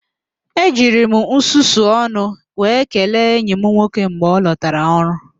E jiri m nsusu ọnụ wee kelee enyi m nwoke mgbe ọ lọtara ọrụ